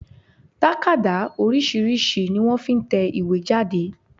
Tákàdá oríṣìíríṣìí ni wọ́n fi n tẹ ìwé jáde